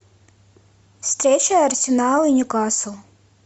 встреча арсенал и ньюкасл